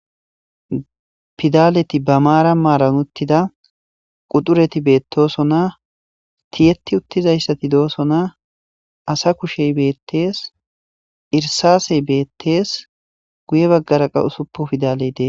pidaleti ba maara maaran uttida qudureti beettoosona tiyeti uttizayssati doosona asa kushey beettees irsasey beettees guye baggaraqa usuppo pidaleydee